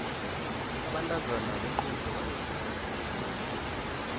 abantazana bequde bambethe kuhle